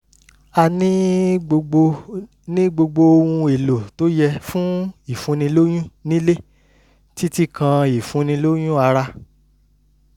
a ní gbogbo ní gbogbo ohun-èlò tó yẹ fún ìfúnnilóyún nílé títí kan ìfúnnilóyún ara